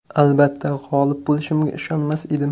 Albatta, g‘olib bo‘lishimga ishonmas edim.